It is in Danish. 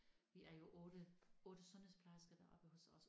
Vi er jo 8 8 sundhedsplejersker deroppe hos os